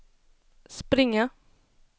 springa